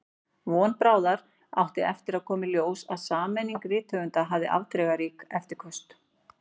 Von bráðar átti eftir að koma í ljós að sameining rithöfunda hafði afdrifarík eftirköst.